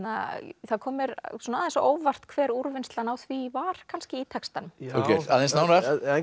það kom mér svona aðeins á óvart hver úrvinnslan á því var kannski í textanum Þorgeir aðeins nánar